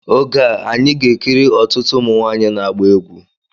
Oge a, anyị ga-ekiri ọtụtụ ụmụ nwanyị na-agba egwu